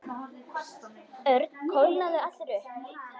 Örn kólnaði allur upp.